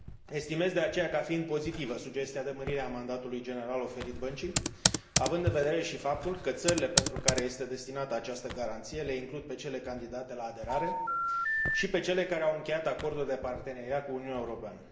Estimez, de aceea, ca fiind pozitivă sugestia de mărire a mandatului general oferit băncii, având vedere și faptul că țările pentru care este destinată această garanție le includ pe cele candidate la aderare și pe cele care au încheiat acorduri de parteneriat cu Uniunea Europeană.